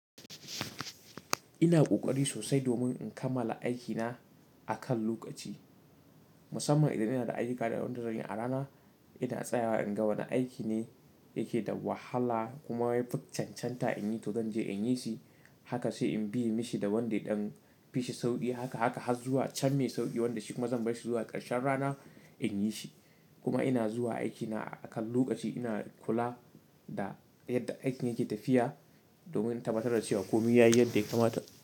Ina ƙoƙari sosai domin in kammala aiki na akan lokaci. Musamman idan ina da ayuka da wanda zanyi a rana, ina tsayawa in ga wane aiki ne yake da wahala kuma ya chanchanta in yi to zan je in yi shi. Haka sai in bi in mishi da wanda ya dan fi shi sauƙi. Haka, haka har zuwa can me sauƙi wanda shi kuma zan bashi zuwa ƙarshen rana in yi shi. Kuma ina zuwa aikina akan lokaci, ina kula da yadda aikin yake tafiya domin in tabbatar da cewa komai yayi yadda ya kamata.